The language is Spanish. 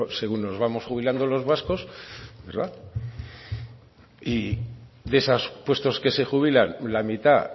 según nos vamos jubilando los vascos y de esos puestos que se jubilan la mitad